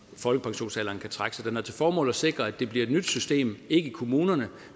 folkepensionsalderen kan trække sig den har til formål at sikre at det bliver et nyt system ikke i kommunerne